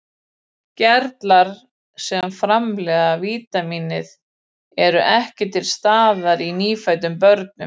Gerlar sem framleiða vítamínið eru ekki til staðar í nýfæddum börnum.